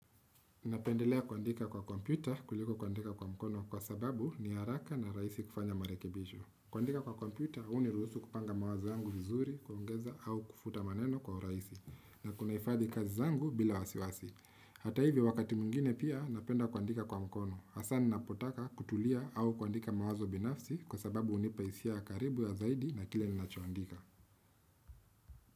Napendelea kuandika kwa kompyuta kuliko kuandika kwa mkono kwa sababu ni haraka na rahisi kufanya marekebisho kuandika kwa kompyuta huniruhusu kupanga mawazo yangu vizuri kuongeza au kufuta maneno kwa urahisi na kunahifadhi kazi zangu bila wasiwasi hata hivyo wakati mwingine pia napenda kuandika kwa mkono hasa ninapotaka kutulia au kuandika mawazo binafsi kwa sababu hunipa hisia ya karibu ya zaidi na kile ni nachoandika.